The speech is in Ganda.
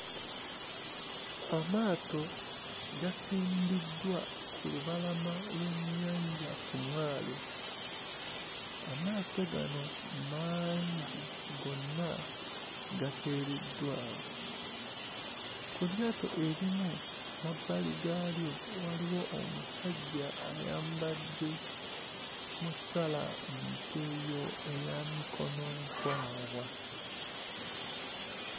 Amaato gasimbiddwa ku lubalama lw'ennyanja ku mwalo. Amaato gano mangi, gonna gateereddwa awo. Ku lyato erimu emabbali gaalyo waliwo omusajja ayambadde musalantuuyo eya mikononkwawa.